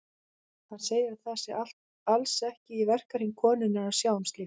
Hann segir að það sé alls ekki í verkahring konunnar að sjá um slíkt.